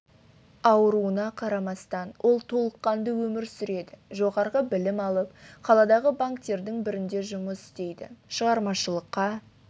ауруына қарамастан ол толыққанды өмір сүреді жоғарғы білім алып қаладағы банктердің бірінде жұмыс істейді шығармашылыққа